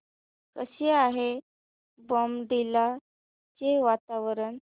कसे आहे बॉमडिला चे वातावरण